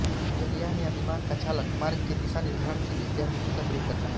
जलयान या विमान का चालक मार्ग के दिशानिर्धारण के लिए ज्यामिति का प्रयोग करता है